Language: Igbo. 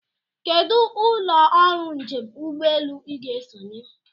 Kedụ ụlọ ọrụ njem ụgbọelu Ị ga-esonye?